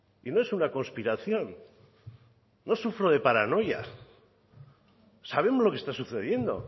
y no es una conspiración no sufro de paranoia sabemos lo que está sucediendo